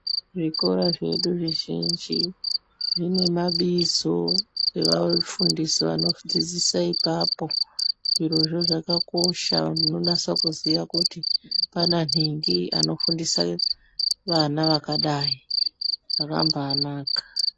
Zvikoro zvedu zvizhinji zvine mabizo evafundisi vanodzodzisa ipapo, zvirozvo zvakakosha kuti pana nhingi unofundisa vana vakadai zvakamba anaka.